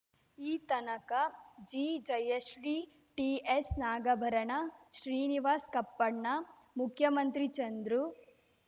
ಈ ತನಕ G Jayashree TS Nagabharana Srinivas Kappanna Mukhyamantri Chandru